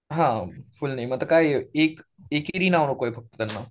हां full name आता काय एक एकेरी नाव नको आहे त्यांना.